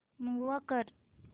move कर